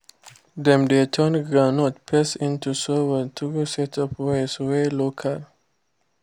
to dey use small water no mean say person no dey farm e mean say person dey use sense farm